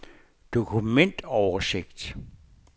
dokumentoversigt